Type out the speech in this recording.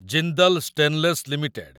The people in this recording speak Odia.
Jindal stainless limited